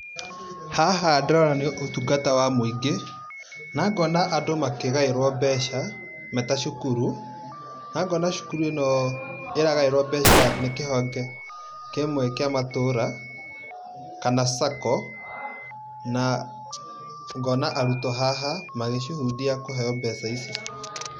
Haha ndĩrona nĩ ũtungata wa mũingĩ, nangona andũ makĩgaĩrũo mbeca me ta cukuru. Nangona cukuru ĩno ĩragaĩrũo mbeca nĩ kĩhonge kĩmwe kĩa matũũra kana sacco .Na ngona arutwo haha magĩcuhundia kũheo mbeca ici.